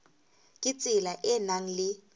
ka tsela e nang le